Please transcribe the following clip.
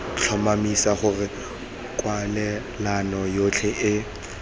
tlhomamisa gore kwalelano yotlhe e